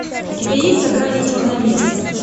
у тебя есть за гранью черной мессы